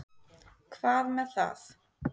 Hvað með það.